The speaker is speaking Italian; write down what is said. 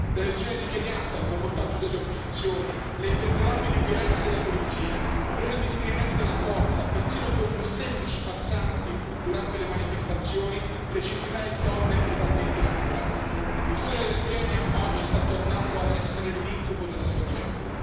L'elezione di Kenyatta, il boicottaggio delle opposizioni, le imperdonabili violenze della polizia, l'uso indiscriminato della forza, persino contro semplici passanti, durante le manifestazioni e le centinaia di donne brutalmente stuprate il sogno del Kenya oggi sta tornando a essere l'incubo della sua gente.